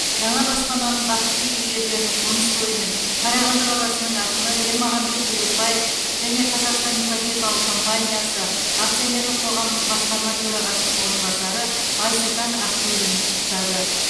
жаңа баспананың бақытты иегерлерін қоныс тойымен қарағанды қаласының әкімі ермағанбет бөлекпаев және қазақстандық ипотекалық компаниясы акционерлік қоғамының басқарма төрағасының орынбасары айсұлтан ақшурин құттықтады